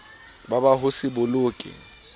ba ba ho se boloke